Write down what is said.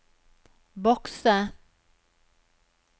bokse